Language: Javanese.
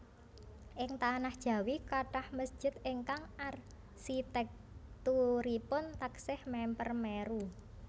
Ing tanah Jawi kathah mesjid ingkang arsitèkturipun taksih mèmper Meru